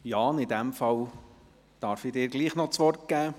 Jan Gnägi, ich darf Ihnen doch noch das Wort geben.